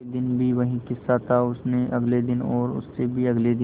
अगले दिन भी वही किस्सा था और उससे अगले दिन और उससे भी अगले दिन